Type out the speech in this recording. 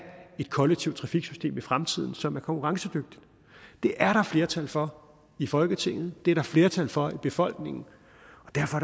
et kollektivt trafiksystem i fremtiden som er konkurrencedygtigt det er der flertal for i folketinget det er der flertal for i befolkningen